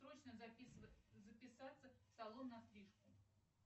срочно записаться в салон на стрижку